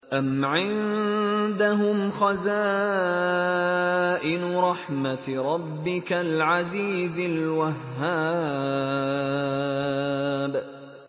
أَمْ عِندَهُمْ خَزَائِنُ رَحْمَةِ رَبِّكَ الْعَزِيزِ الْوَهَّابِ